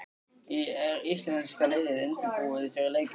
Er íslenska liðið undirbúið fyrir leikinn?